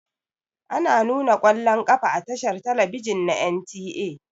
Ana nuna ƙwallon ƙafa a tashar talabijin na NTA.